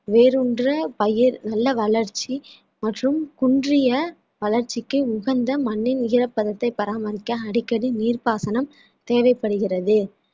வேரூன்ற பயிர் நல்ல வளர்ச்சி மற்றும் குன்றிய வளர்ச்சிக்கு உகந்த மண்ணின் உயரப்பதத்தை பராமரிக்க அடிக்கடி நீர்ப்பாசனம் தேவைப்படுகிறது